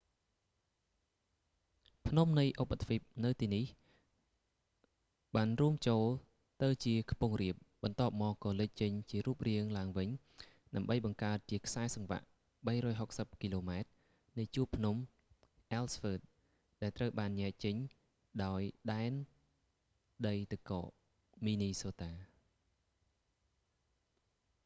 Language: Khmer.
ភ្នំនៃឧបទ្វីបនៅទីនេះបានរួមចូលទៅជាខ្ពង់រាប បន្ទាប់មកក៏លេចចេញជារូបរាងឡើងវិញ ដើម្បីបង្កើតជាខ្សែសង្វាក់ 360 គីឡូម៉ែត្រនៃជួរភ្នំ អ៊ែលស៍វ៊ើត ellsworth ដែលត្រូវបានញែកចេញដោយដែនដីទឹកកក មីនីសូតា minnesota